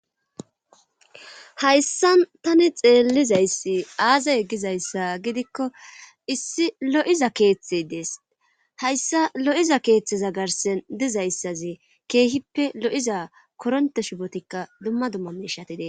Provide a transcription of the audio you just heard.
hayssa tani xeellizayssi aazee gizayssa gidikko issi lo7iza keeththey dees hayssa lo7iza keeththeza garsen dizayssazi keehippe lo7iza koronte shibotikka dumma dumma mishati de7ettees